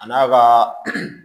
A n'a ka